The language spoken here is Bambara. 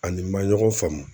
Ani ma ɲɔgɔn faamu.